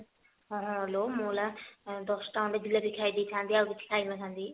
ଆହାଲୋ ମୁଁ ଏନା ଦଶଟା ଖଣ୍ଡେ ଜିଲାପି ଖାଇଦେଇ ଥାନ୍ତି ଆଉ କିଛି ଖାଇ ନଥାନ୍ତି